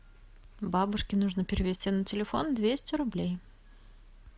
бабушке нужно перевести на телефон двести рублей